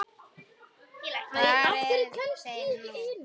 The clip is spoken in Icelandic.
Hvar eru þeir nú?